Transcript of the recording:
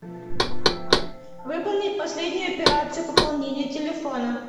выполнить последнюю операцию пополнения телефона